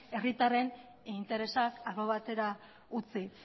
herritarren interesak albo batera utzi